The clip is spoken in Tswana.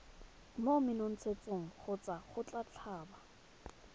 mo menontshetsong kgotsa go tlhaba